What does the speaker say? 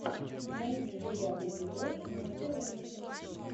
найди девятый эпизод мастер ужасов